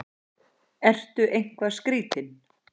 Ertu eitthvað skrýtinn?